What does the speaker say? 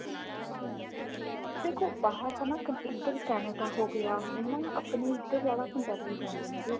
ਦੇਖੋ ਬਾਹਰ ਤਾਂ ਇੱਧਰ Canada ਹੋ ਗਿਆ ਹਨਾਂ ਆਪਣੇ ਇੱਧਰ ਜਿਆਦਾ ਪੰਜਾਬੀ ਜਾਂਦੇ ਨੇਗੇ